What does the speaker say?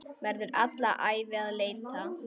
Verður alla ævi að leita.